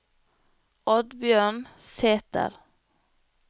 Oddbjørn Sæther